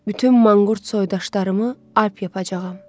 Bütün manqurt soydaşlarımı alp yapacağam.